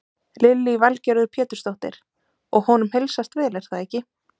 Lillý Valgerður Pétursdóttir: Og honum heilsast vel er það ekki?